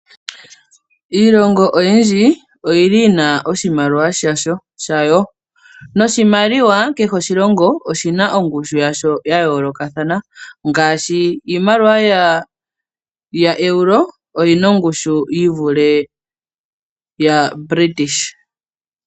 Iilongo oyindji oyina oshimaliwa shayo, noshimaliwa kehe shoshilongo oshina ongushu ya yoolokathana ngaashi iimaliwa yaEuro oyina ongushu yi vule yaBritish pound.